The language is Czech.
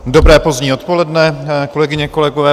Dobré pozdní odpoledne, kolegyně, kolegové.